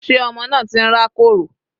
Sé ọmọ náà ti ń rá kòrò?